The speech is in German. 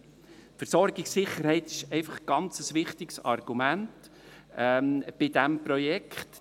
Die Versorgungssicherheit ist einfach ein ganz wichtiges Argument bei diesem Projekt.